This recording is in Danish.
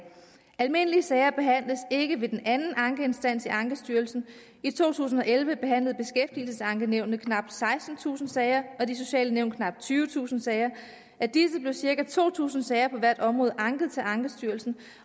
almindelige sager behandles ikke ved den anden ankeinstans i ankestyrelsen i to tusind og elleve behandlede beskæftigelsesankenævnet knap sekstentusind sager og de sociale nævn knap tyvetusind sager af disse blev cirka to tusind sager på hvert område anket til ankestyrelsen